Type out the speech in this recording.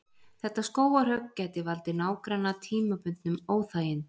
Þetta skógarhögg gæti valdið nágranna tímabundnum óþægindum.